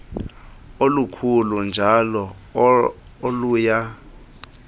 olukhulu njl oluya